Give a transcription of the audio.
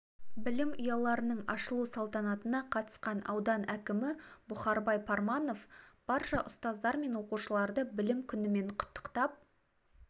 білім ұяларының ашылу салтанатына қатысқан аудан әкімі бұхарбай парманов барша ұстаздар мен оқушыларды білім күнімен құттықтап